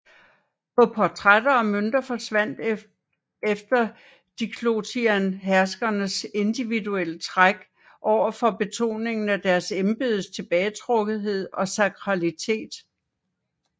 På portrætter og mønter forsvandt efter Diocletian herskernes individuelle træk over for betoningen af deres embedes tilbagetrukkethed og sakralitet